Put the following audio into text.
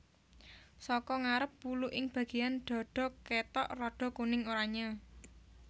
Saka ngarep wulu ing bagéyan dhadha kétok rada kuning oranyé